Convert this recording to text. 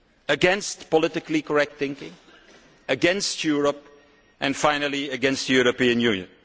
against politically correct thinking, against Europe and, finally, against the European Union.